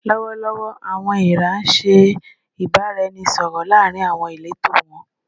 Lọwọlọwọ, "awọn eera" ṣe ibaraẹnisọrọ laarin awọn ileto wọn